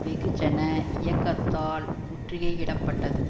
வெகுஜன இயக்கத்தால் முற்றுகையிடப்பட்டது